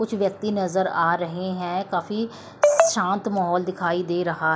कुछ व्यक्ति नजर आ रहे हैं काफी शांत माहौल दिखाई दे रहा--